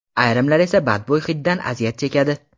Ayrimlar esa badbo‘y hiddan aziyat chekadi.